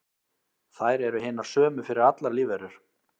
þær eru hinar sömu fyrir allar lífverur